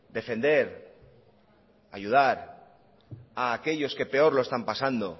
defender ayudar a aquellos que peor lo están pasado